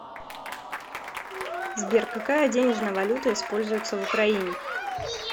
сбер какая денежная валюта используется в украине